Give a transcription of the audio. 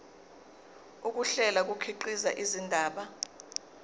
ukuhlela kukhiqiza indaba